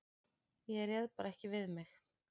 Ég réð bara ekki við mig.